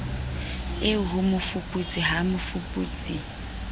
eo ho mofuputsi ha mmofuputsi